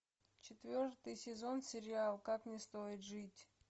четвертый сезон сериал как не стоить жить